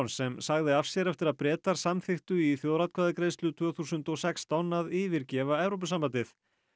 sem sagði af sér eftir að Bretar samþykktu í þjóðaratkvæðagreiðslu tvö þúsund og sextán að yfirgefa Evrópusambandið